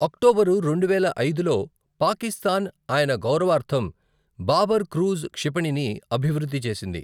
October రెండువేల ఐదులో, పాకిస్తాన్ ఆయన గౌరవార్థం బాబర్ క్రూజ్ క్షిపణిని అభివృద్ధి చేసింది.